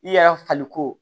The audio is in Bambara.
I yɛrɛ fali ko